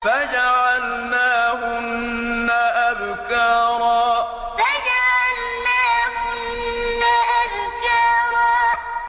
فَجَعَلْنَاهُنَّ أَبْكَارًا فَجَعَلْنَاهُنَّ أَبْكَارًا